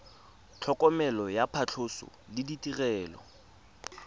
tlhokomelo ya phatlhoso le ditirelo